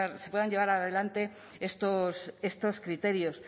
se puedan llevar adelante estos criterios